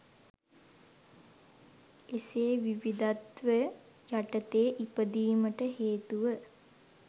එසේ විවිධත්ව යටතේ ඉපදීමට හේතුව